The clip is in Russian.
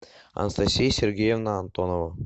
анастасия сергеевна антонова